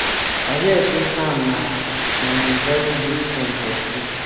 i hear say sam na na him very good friend for school.